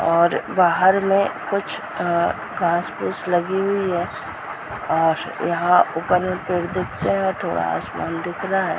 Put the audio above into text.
और बाहर में कुछ अ घास-फूस लगी हुई है और यहाँ ऊपर में कुछ पेड़ दिखते हैं और एक ठो आसमान दिख रहा है ।